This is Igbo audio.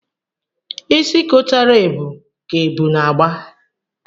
Isi kotara ebu ka ebu na-agba.